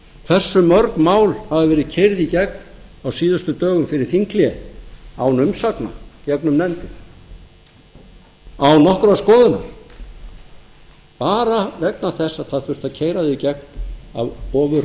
hversu mörg mál hafa verið keyrð í gegn á síðustu dögum fyrir þinghlé án umsagna gegnum nefndir án nokkurrar skoðunar bara vegna þess að það þurfti að keyra þau í